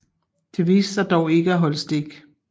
Det viste sig dog ikke at holde stik